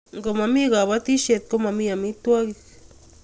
ko mami kabetishiet ko mami amitwangik